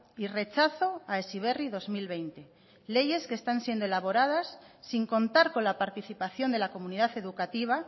y rechazo a heziberri dos mil veinte leyes que están siendo elaboradas sin contar con la participación de la comunidad educativa